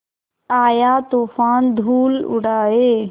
आया तूफ़ान धूल उड़ाए